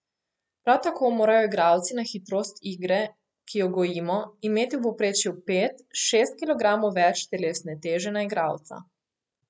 Prav tako morajo igralci na hitrost igre, ki jo gojimo, imeti v povprečju pet, šest kilogramov več telesne teže na igralca.